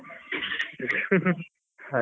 .